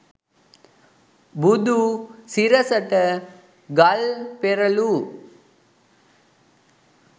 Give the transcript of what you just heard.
බුදු සිරසට ගල් පෙරලූ